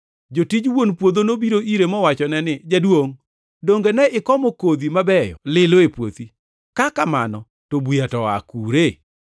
“Jotij wuon puodho nobiro ire mowachone ni, ‘Jaduongʼ, donge ne ikomo kodhi mabeyo lilo e puothi? Ka kamano to buya to oa kure?’